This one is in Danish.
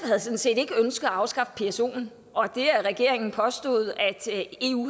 havde sådan set ikke ønsket at afskaffe psoen og det at regeringen påstod at eu